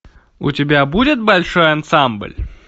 у тебя будет большой ансамбль